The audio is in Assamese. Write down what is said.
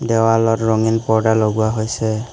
দেৱালত ৰঙীন পৰ্দা লগোৱা হৈছে।